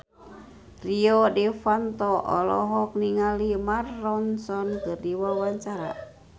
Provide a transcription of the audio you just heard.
Rio Dewanto olohok ningali Mark Ronson keur diwawancara